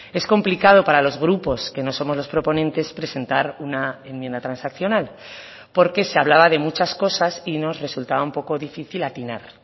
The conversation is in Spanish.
es complicado para los grupos que no somos los proponentes presentar una enmienda transaccional porque se hablaba de muchas cosas y nos resultaba un poco difícil atinar